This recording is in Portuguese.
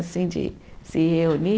Assim, de se reunir.